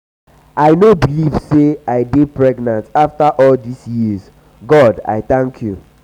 i no believe say i dey pregnant after all dis years. god i thank you.